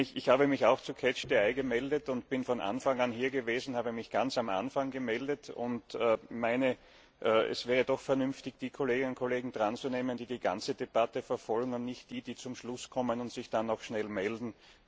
Ich habe mich auch zu gemeldet und bin von Anfang an hier gewesen. Ich habe mich ganz am Anfang gemeldet und meine, es wäre doch vernünftig, die Kolleginnen und Kollegen dranzunehmen, die die ganze Debatte verfolgen, und nicht die, die zum Schluss kommen und sich dann noch schnell melden.